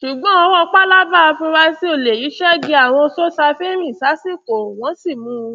ṣùgbọn ọwọ pálábá àfurasí olè yìí ṣẹgi àwọn sosafe rìn sásìkò wọn sì mú un